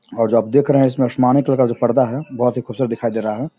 और जो आप देख रहे है इसमें आसमानी कलर का जो पर्दा है बहोत ही खुबसूरत दिखाई दे रहा है ।